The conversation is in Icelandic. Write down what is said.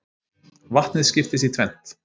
Vatnið skiptist í tvennt.